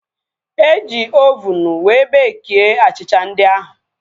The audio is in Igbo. Eji ovunu wee bekie achịcha ndị ahu